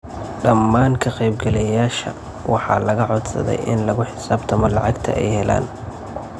Dhammaan ka qaybgalayaasha waxaa laga codsaday in lagu xisaabtamo lacagta ay heleen.